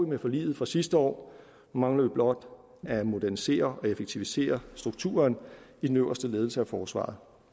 med forliget fra sidste år nu mangler vi blot at modernisere og effektivisere strukturen i den øverste ledelse af forsvaret